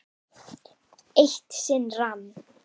Eitt sinn rann